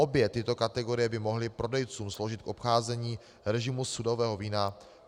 Obě tyto kategorie by mohly prodejcům sloužit k obcházení režimu sudového vína.